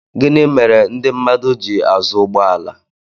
gịnị mere ndị mmadụ ji azụ ụgbọ ala